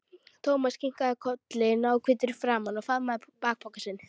Thomas kinkaði kolli, náhvítur í framan, og faðmaði bakpokann sinn.